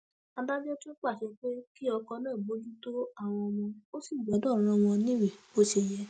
adájọ tún pàṣẹ pé kí ọkọ náà bójútó àwọn ọmọ ò sì gbọdọ rán wọn níwèé bó bó ṣe yẹ